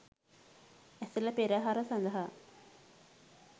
ඇසළ පෙරහර සඳහා